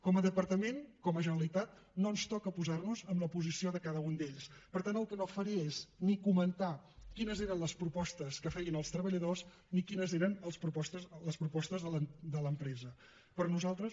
com a departament com a generalitat no ens toca posar nos amb la posició de cada un d’ells per tant el que no faré és ni comentar quines eren les propostes que feien els treballadors ni quines eren les propostes de l’empresa per nosaltres